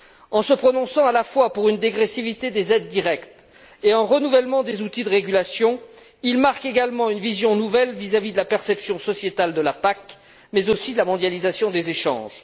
En se prononçant à la fois pour une dégressivité des aides directes, et un renouvellement des outils de régulation, il marque également une vision nouvelle vis à vis de la perception sociétale de la PAC, mais aussi de la mondialisation des échanges.